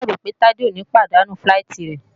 Mo ṣáà ròpé Tádé ò ní pàdánù fíláìtí rẹ̀?